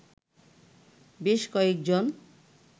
বেশ কয়েকজন